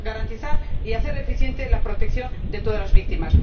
garantizar y hacer eficiente la protección de todas las víctimas.